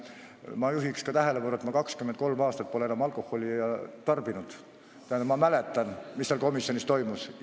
Ma juhin ka tähelepanu, et ma pole enam 23 aastat alkoholi tarbinud, tähendab, ma mäletan, mis seal komisjonis toimus.